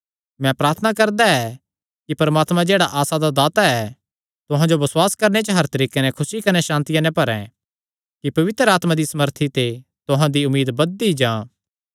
मैं प्रार्थना करदा ऐ कि परमात्मा जेह्ड़ा आसा दा दाता ऐ तुहां जो बसुआस करणे च हर तरीके नैं खुसी कने सांतिया नैं भरैं कि पवित्र आत्मा दिया सामर्थी ते तुहां दी उम्मीद बधदी जां